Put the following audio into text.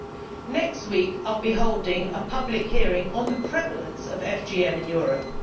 In the next week, I will be holding a public hearing on the prevalence of FGM in Europe.